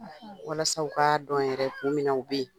Walasa u k'a dɔn yɛrɛ de kun jumɛn a u bɛ yen.